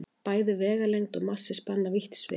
Bæði vegalengd og massi spanna vítt svið.